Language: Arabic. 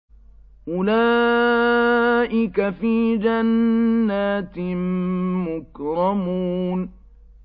أُولَٰئِكَ فِي جَنَّاتٍ مُّكْرَمُونَ